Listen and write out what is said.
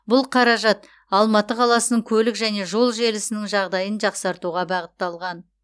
бұл қаражат алматы қаласының көлік және жол желісінің жағдайын жақсартуға бағытталған